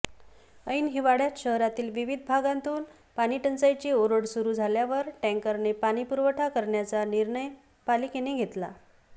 ऐन हिवाळ्यात शहरातील विविध विभागांतून पाणीटंचाईची ओरड सुरू झाल्यावर टँकरने पाणीपुरवठा करण्याचा निर्णय पालिकेने घेतला